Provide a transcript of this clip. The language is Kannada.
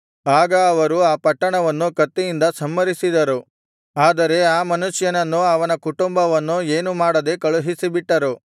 ಆಗ ಅವರು ಆ ಪಟ್ಟಣವನ್ನು ಕತ್ತಿಯಿಂದ ಸಂಹರಿಸಿದರು ಆದರೆ ಆ ಮನುಷ್ಯನನ್ನೂ ಅವನ ಕುಟುಂಬವನ್ನೂ ಏನು ಮಾಡದೆ ಕಳುಹಿಸಿಬಿಟ್ಟರು